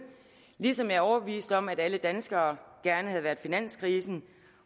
ligesom jeg er overbevist om at alle danskere gerne havde været finanskrisen